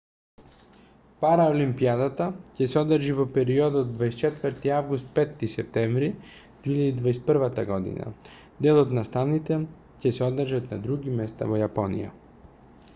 параолимпијадата ќе се одржи во периодот 24 август - 5 септември 2021 година дел од настаните ќе се одржат на други места во јапонија